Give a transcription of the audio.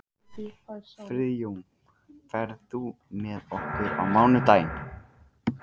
Friðjón, ferð þú með okkur á mánudaginn?